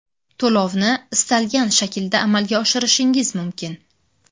To‘lovni istalgan shaklda amalga oshirishingiz mumkin.